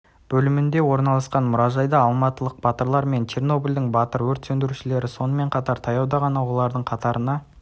бөлімінде орналасқан мұражайда алматылық батырлар мен чернобльдың батыр-өрт сөндірушілері сонымен қатар таяуда ғана олардың қатарына